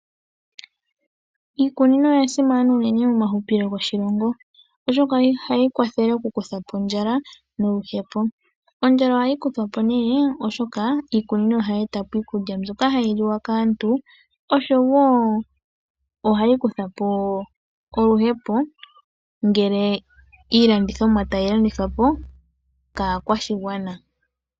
Iikunino oya simana unene momahupilo goshilongo, oshoka ohayi kwathele okukutha po ondjala noluhepo. Ondjala ohayi kuthwa po sho iikunino tayi e ta po iikulya mbyoka hayi liwa kaantu, osho wo ohayi kutha po oluhepo ngele iilandithomwa tayi landithwa po kaakwashigwana.